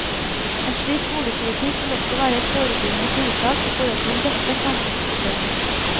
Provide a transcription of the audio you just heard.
En slik boligpolitikk vil også være et forebyggende tiltak i forhold til en rekke samfunnsproblemer.